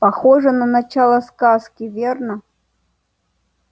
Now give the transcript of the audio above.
похоже на начало сказки верно